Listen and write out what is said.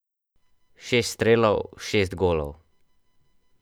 Šest strelov, šest golov.